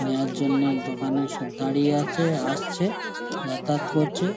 নেওয়ার জন্যে দোকানে সব দাঁড়িয়ে আছে আসছে যাতায়াত করছে।